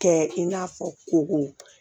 Kɛ i n'a fɔ koko